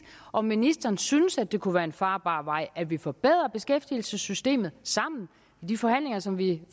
om ministeren synes at det kunne være en farbar vej at vi forbedrede beskæftigelsessystemet sammen i de forhandlinger som vi